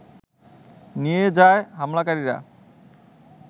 নিয়ে যায় হামলাকারীরা